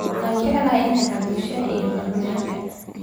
Waxaan jeclahay inaan cabbo shaah iyo macmacaanka.